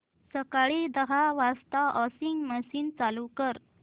सकाळी दहा वाजता वॉशिंग मशीन चालू कर